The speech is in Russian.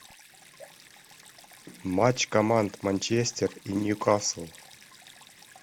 матч команд манчестер и ньюкасл